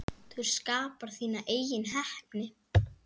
Þú skapar þína eigin heppni.